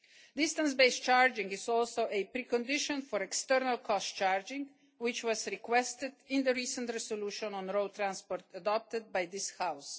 Distance-based charging is also a precondition for external cost charging, which was requested in the recent resolution on road transport adopted by this